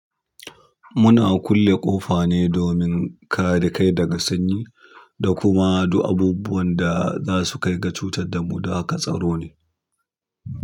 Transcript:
Muna kulle ƙofa ne domin kare kai daga sanyi da kuma du abubuwan da za su kai ga cutar da mu, haka tsaro ne.